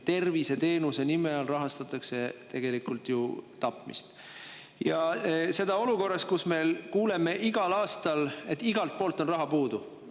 Tervishoiuteenuse nime all rahastatakse meil tegelikult tapmist, ja seda olukorras, kus me kuuleme igal aastal, et meil on igalt poolt raha puudu.